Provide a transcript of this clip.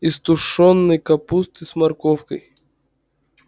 из тушёной капусты с морковкой